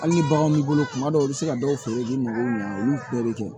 Hali ni baganw b'i bolo kuma dɔw la i bɛ se ka dɔw feere di mɔgɔw ma olu bɛɛ bɛ kɛ